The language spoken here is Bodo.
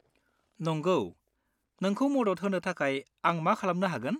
नंगौ। नोंखौ मदद होनो थाखाय आं मा खालामनो हागोन?